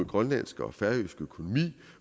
grønlandske og færøske økonomi